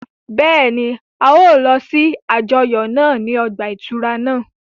Bẹ́ẹ̀ni, a yóò lọ si àjọyọ naa ni ọgba-ìturá naa